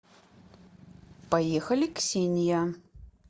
поехали ксения